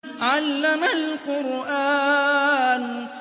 عَلَّمَ الْقُرْآنَ